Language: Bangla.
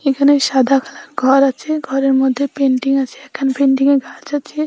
এখানে সাদা কালার ঘর আছে ঘরের মধ্যে পেইন্টিং আছে এখানে পেইন্টিং -এ গাছ আছে।